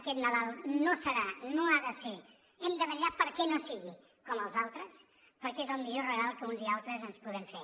aquest nadal no serà no ha de ser hem de vetllar perquè no sigui com els altres perquè és el millor regal que uns i altres ens podem fer